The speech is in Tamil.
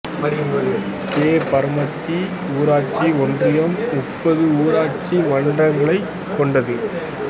கே பரமத்தி ஊராட்சி ஒன்றியம் முப்பது ஊராட்சி மன்றங்களைக் கொண்டுள்ளது